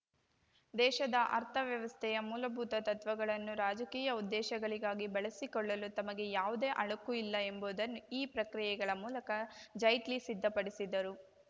ದೇಶದ ಅರ್ಥವ್ಯವಸ್ಥೆಯ ಮೂಲಭೂತ ತತ್ವಗಳನ್ನೂ ರಾಜಕೀಯ ಉದ್ದೇಶಗಳಿಗಾಗಿ ಬಳಸಿಕೊಳ್ಳಲು ತಮಗೆ ಯಾವುದೇ ಅಳುಕು ಇಲ್ಲ ಎಂಬುದನ್ನು ಈ ಪ್ರಕ್ರಿಯೆಗಳ ಮೂಲಕ ಜೈಟ್ಲಿ ಸಿದ್ಧಪಡಿಸಿದರು